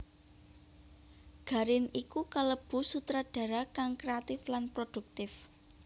Garin iku kalebu sutradara kang kréatif lan produktif